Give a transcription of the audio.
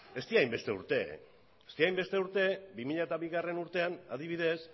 ez dira hainbeste urte bi mila bigarrena urtean adibidez